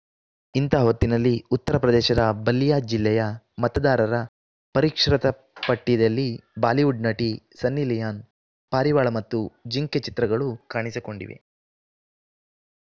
ಇಂತ ಹೊತ್ತಿನಲ್ಲಿ ಉತ್ತರ ಪ್ರದೇಶದ ಬಲ್ಲಿಯಾ ಜಿಲ್ಲೆಯ ಮತದಾರರ ಪರಿಷ್ಕೃತ ಪಟ್ಟಿಯಲ್ಲಿ ಬಾಲಿವುಡ್‌ ನಟಿ ಸನ್ನಿ ಲಿಯೋನ್‌ ಪಾರಿವಾಳ ಮತ್ತು ಜಿಂಕೆ ಚಿತ್ರಗಳೂ ಕಾಣಿಸಿಕೊಂಡಿವೆ